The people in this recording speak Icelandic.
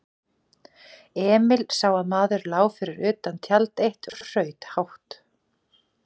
Emil sá að maður lá fyrir utan tjald eitt og hraut hátt.